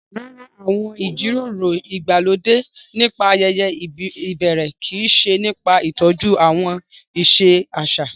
Rárá, àwọn ìjíròrò ìgbàlódé nípa ayeye ìbẹ̀rẹ̀ kii se nipa ìtọ́jú àwọn ìṣe àṣà